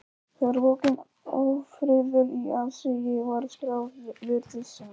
Þegar bókin Ófriður í aðsigi var skráð, virtist sem